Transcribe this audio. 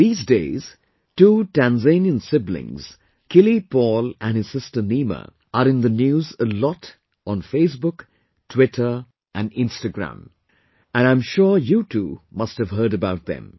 These days, two Tanzanian siblings, Kili Paul and his sister Nima, are in the news a lot on Facebook, Twitter and Instagram, and I'm sure you too, must have heard about them